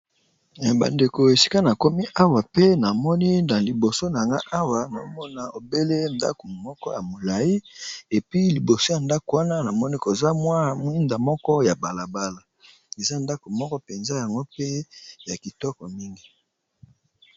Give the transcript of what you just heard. Bandeko esika nakomi awa pe namoni na liboso na nga awa, nomona obele ndako moko ya molai epi liboso ya ndako wana namoni koza mwa mwinda moko ya balabala, eza ndako moko mpenza yango pe ya kitoko mingi.